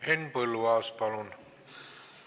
Henn Põlluaas, palun!